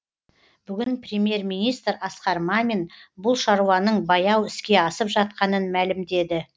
бүгін премьер министр асқар мамин бұл шаруаның баяу іске асып жатқанын мәлімдеді